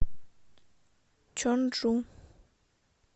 чонджу